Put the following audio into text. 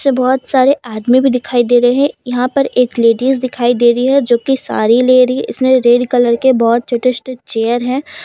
बहुत सारे आदमी भी दिखाई दे रहे हैं यहां पर एक लेडीज दिखाई दे रही है जो कि साड़ी ले रही इसमें रेड कलर के बहुत छोटे चेयर हैं।